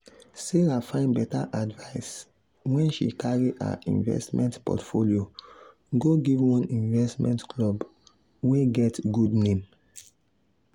sarah find better advice when she carry her investment portfolio go give one investment club wey get good name.